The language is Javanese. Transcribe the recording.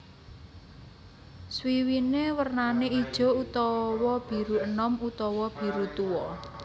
Swiwiné wernané ijo utawa biru enom utawa biru tuwa